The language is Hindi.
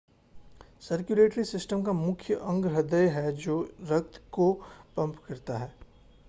सर्कुलेटरी सिस्टम का मुख्य अंग हृदय है जो रक्त को पंप करता है